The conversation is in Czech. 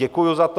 Děkuji za to.